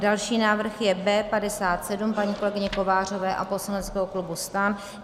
Další návrh je B57 paní kolegyně Kovářové a poslaneckého klubu STAN.